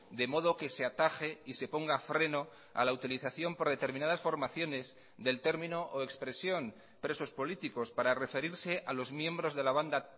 de modo que se ataje y se ponga freno a la utilización por determinadas formaciones del término o expresión presos políticos para referirse a los miembros de la banda